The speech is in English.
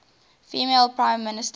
female prime minister